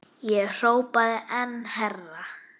Ég hrópaði enn hærra.